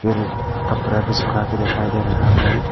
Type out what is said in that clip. कपड़ा भी सूखा के दिखाई दे रहा है।